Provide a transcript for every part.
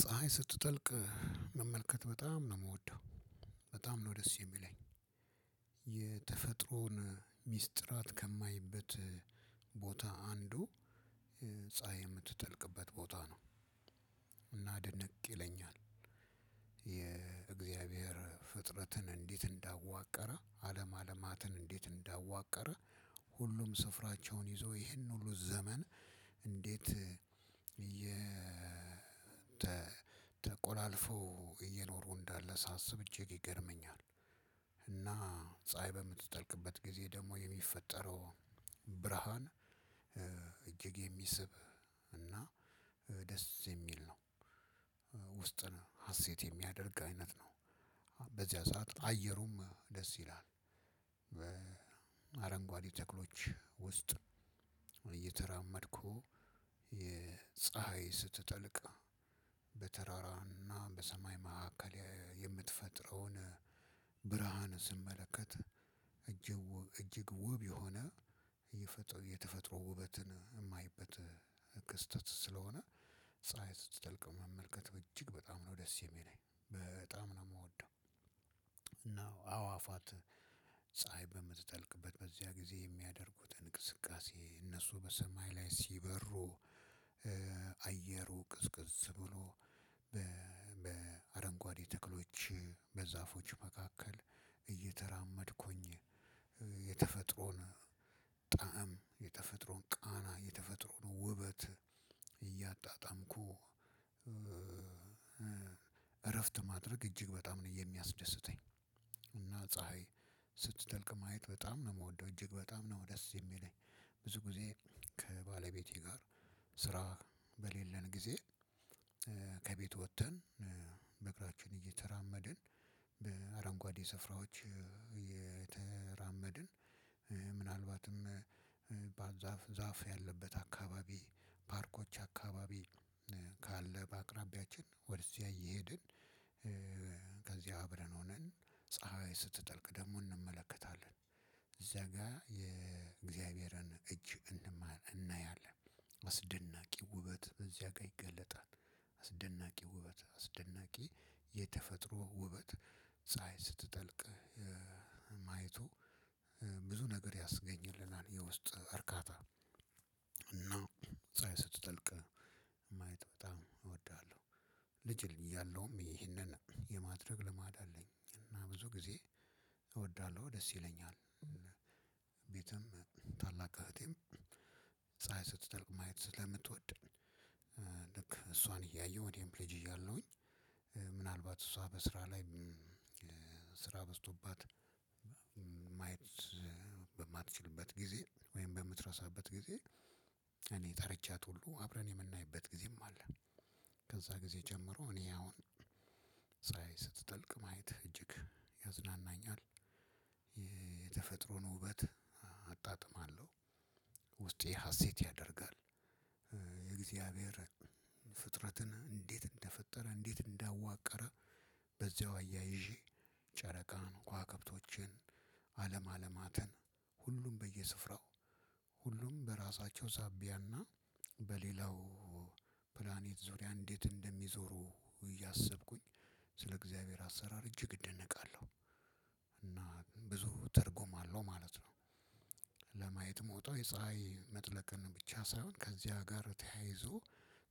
ፀሀይ ስትጠልቅ መመልከት በጣም ነው የምወደው። በጣም ነው ደስ የሚለኝ። የተፈጥሮን ሚስጥራት ከማይበት ቦታ አንዱ ፀሀይ የምትጠልቅበት ቦታ ነው። እና ድነቅ ይለኛል። የእግዚአብሔር ፍጥረትን እንዴት እንዳዋቀረ አለም አለማትን እንዴት እንዳዋቀረ ሁሉም ስፍራቸውን ይዘው ይሄን ሁሉ ዘመን እንዴት የ ተቆላልፈው እየኖሩ እንዳለ ሳስብ እጂግ ይገርመኛል። እና ፀሀይ በምትጠልቅበት ጊዜ ደግሞ የሚፈጠረው ብርሃን እጅግ የሚስብ እና ደስ የሚል ነው። ውስጥን ሀሴት የሚያደርግ አይነት ነው። በዚያ ሰዓት አየሩም ደስ ይላል። በአረንጓዴ ተክሎች ውስጥ እየተራመድኩ ፀሀይ ስትጠልቅ በተራራና በሰማይ መካከል የምትፈጥረውን ብርሃን ስመለከት እጅግ ውብ የሆነ የተፈጥሮ ውበትን የማይበት ክስተት ስለሆነ ፀሀይ ስትጠልቅ መመልከት በእጅግ በጣም ነው ደስ የሚለኝ በጣም ነው የምወደው። እና አዋፋት ፀሀይ በምትጠልቅበት በዚያ ጊዜ የሚያደርጉትን እንቅስቃሴ እነሱ በሰማይ ላይ ሲበሩ። አየሩ ቅዝቅዝ ብሎ በአረንጓዴ ተክሎች በዛፎች መካከል እየተራመድኩኝ የተፈጥሮን ጣዕም የተፈጥሮን ቃና የተፈጥሮን ውበት እያጣጣምኩ። እረፍት ማድረግ እጅግ በጣም ነው የሚያስደስተኝ። እና ፀሀይ ስትተልቅ ማየት በጣም ነው የምወደው እጅግ በጣም ነው ደስ የሚለኝ። ብዙ ጊዜ ከባለቤቴ ጋር ስራ በሌለን ጊዜ ከቤቱ ወጥተን በእግራችን እየተራመድን በአረንጓዴ ስፍራዎች እየተራመድን ምናልባትም ዛፍ ያለበት አካባቢ ፓርኮች አካባቢ ካለ በአቅራቢያችን ወደዚያ እየሄድን ከዚያ አብረን ሆነን ፀሀይ ስትጠልቅ ደግሞ እንመለከታለን። እዚያ ጋር የእግዚአብሔርን እጅ እናያለን አስደናቂ ውበት እዚያ ጋር ይገለጣል። አስደናቂ ውበት አስደናቂ የተፈጥሮ ውበት ፀሀይ ስትጠልቅ ማየቱ ብዙ ነገር ያስገኝልናል የውስጥ እርካታ። እና ፀሀይ ስትጠልቅ ማየት በጣም እወዳለሁ። ልጅ እያለሁም ይህንን የማድረግ ልማድ አለኝ እና ብዙ ጊዜ እወዳለሁ ደስ ይለኛል። ቤትም ታላቅ እህቴም ፀሀይ ስትጠልቅ ማየት ስለምትወድ ልክ እሷን እያየሁ ወዲያውኑ ልጅ እያለሁኝ ምናልባት እሷ በስራ ላይ ስራ በዝቶባት ማየት በማትችልበት ጊዜ ወይም በምትረሳበት ጊዜ እኔ ጠርቻት ሁሉ አብረን የምናይበት ጊዜም አለ። ከዛ ጊዜ ጀምሮ እኔ አሁን ስትጠልቅ ማየት እጅግ ያዝናናኛል። የተፈጥሮን ውበት አጣጥማለሁ። ውስጤ ሀሴት ያደርጋል። የእግዚአብሄር ፍጥረትን እንዴት እንደፈጠረ እንዴት እንዳዋቀረ በዚያው አያይዠ ጨረቃን ከዋክብቶችን አለም አለማትን ሁሉም በየስፍራው ሁሉም በራሳቸው ዛቢያ እና በሌላው ፕላኔት ዙሪያ እንዴት እንደሚዞሩ እያሰብኩኝ ስለ እግዚአብሔር አሰራር እጂግ እደነቃለሁ። እና ብዙ ትርጉም አለው ማለት ነው። ለማየት እምወጣው የፀሀይ መጥለቅን ብቻ ሳይሆን ከዚያ ጋር ተያይዞ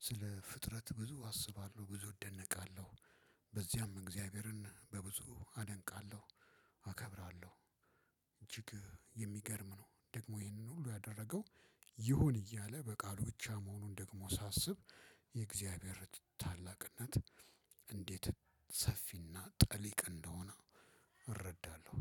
ስለ ፍጥረት ብዙ አስባለሁ ብዙ እደነቃለሁ። በዚያም እግዚአብሔርን በብዙ አደንቃለሁ አከብራለሁ። እጂግ የሚገርም ነው ደግሞ ይህንን ሁላ ያደረገው ይሁን እያለ በቃሉ ብቻውን መሆኑ ደግሞ ሳስብ የእግዚአብሔር ታላቅነት እንዴት ሰፊና ጥልቅ እንደሆነ እረዳለሁ